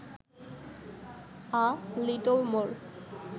a little more